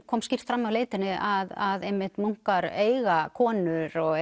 kom skýrt fram í leitinni að einmitt munkar eiga konur og